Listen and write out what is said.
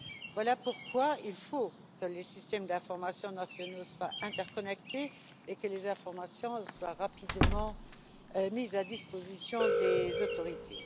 Voilà pourquoi il faut que les systèmes d'informations nationaux soient interconnectés et que les informations soient rapidement mises à disposition des autorités.